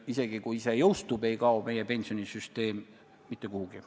Isegi kui see jõustub, ei kao meie pensionisüsteem mitte kuhugi.